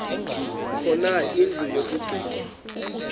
khona indlu yokagcina